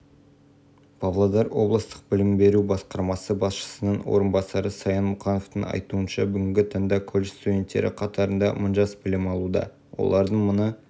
бүгінгі таңда облыста өндірістік нысандар мен шағын және орта бизнес саласына қажет кадрларды даярлаумен колледж айналысады білім беру нысандарының олардың сі